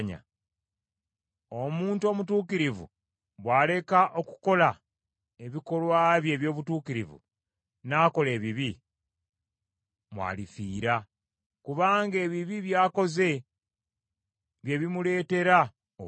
Omuntu omutuukirivu bw’aleka okukola ebikolwa bye eby’obutuukirivu n’akola ebibi, mw’alifiira, kubanga ebibi by’akoze bye birimuleetera okufa.